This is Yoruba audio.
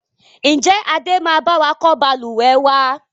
Ń jẹ́ Adé máa bawa kọ́ Balùwẹ́ wàá?